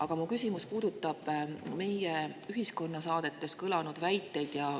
Aga mu küsimus puudutab meie ühiskonnasaadetes kõlanud väiteid.